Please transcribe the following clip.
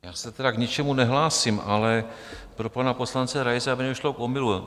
Já se tedy k ničemu nehlásím, ale pro pana poslance Raise, aby nedošlo k omylu.